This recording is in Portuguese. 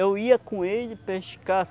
Eu ia com ele pescar.